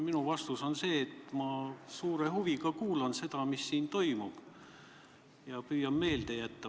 Minu vastus on see, et ma suure huviga kuulan seda, mis siin toimub, ja püüan meelde jätta.